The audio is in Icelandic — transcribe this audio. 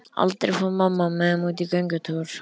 Aldrei fór mamma með þeim út í göngutúr.